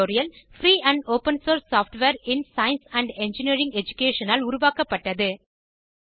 free and open source software in science and engineering education ஆல் உருவாக்கப்பட்டது